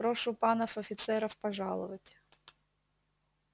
прошу панов офицеров пожаловать